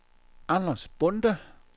Anders Bonde